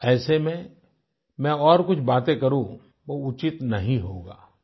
ऐसे में मैं और कुछ बातें करूं वो उचित नहीं होगा